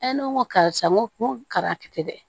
ne ko n ko karisa n ko karatɛ dɛ